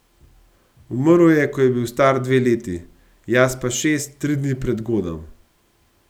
Umrl je, ko je bil star dve leti, jaz pa šest, tri dni pred godom.